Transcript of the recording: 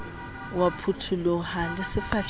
o a phuthuloha le sefahlehong